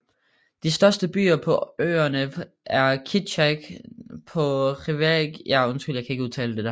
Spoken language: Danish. De største byer på øerne er Ketchikan på Revillagigedo Island og Sitka på Baranof Island